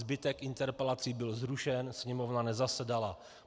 Zbytek interpelací byl zrušen, Sněmovna nezasedala.